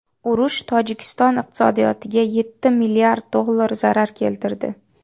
Urush Tojikiston iqtisodiyotiga yetti milliard dollar zarar keltirdi.